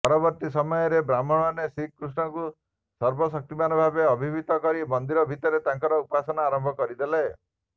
ପରବର୍ତ୍ତୀ ସମୟରେ ବ୍ରାହ୍ମଣମାନେ ଶ୍ରୀକୃଷ୍ଣଙ୍କୁ ସର୍ବଶକ୍ତିମାନ ଭାବେ ଅବିହିତ କରି ମନ୍ଦିର ଭିତରେ ତାଙ୍କର ଉପାସନା ଆରମ୍ଭ କରିଦେଲେ